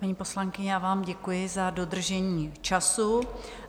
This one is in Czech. Paní poslankyně, já vám děkuji za dodržení času.